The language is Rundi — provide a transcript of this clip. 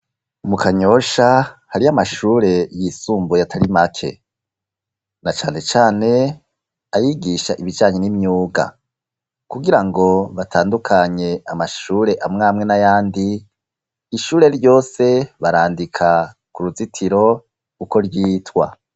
Mu kanyosha hari amashure y'isumbuye atari make na canecane ayigisha ibijanye n'imyuga kugira ngo batandukanye amashure amwamwe n'ayandi ishure ryose barandika ku ruzitiro uko ryitwa.